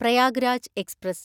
Prayagraj express